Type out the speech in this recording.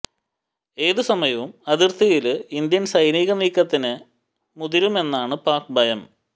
ഏത് സമയവും അതിര്ത്തിയില് ഇന്ത്യ സൈനിക നീക്കത്തിന് മുതിരുമെന്നാണ് പാക് ഭയം